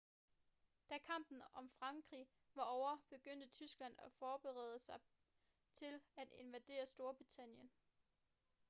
da kampen om frankrig var ovre begyndte tyskland at forberede sig til at invadere storbritannien